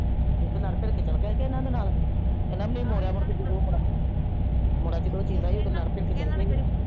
ਇਕ ਲੜ ਤਾਰੜ ਕੇ ਚਲੇ ਗਇਆ ਕੇ ਅਏਨਾ ਦੇ ਨਾਲ ਏਨਾ ਲਈ ਮੋਡਇਆ ਜਾਡੋ ਓਹ ਮੁਡੇਆ